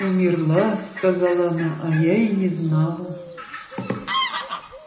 умерла сказала она а я и не знала